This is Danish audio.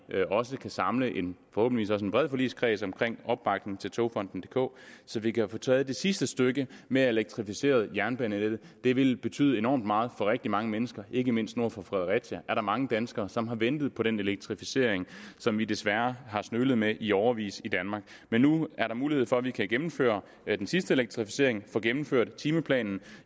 også kan samle en forhåbentlig bred politisk kreds om opbakningen til togfonden dk så vi kan få taget det sidste stykke med at elektrificere jernbanenettet det ville betyde enormt meget for rigtig mange mennesker ikke mindst nord for fredericia er der mange danskere som har ventet på den elektrificering som vi desværre har smølet med i årevis i danmark men nu er der mulighed for at vi kan gennemføre den sidste elektrificering få gennemført timeplanen